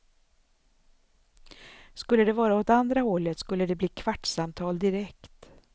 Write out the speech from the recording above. Skulle det vara åt andra hållet skulle det bli kvartssamtal direkt.